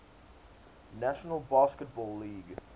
national basketball league